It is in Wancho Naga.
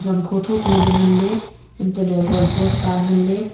zangkho tho tho ley nganley antoley goal post ta nganley.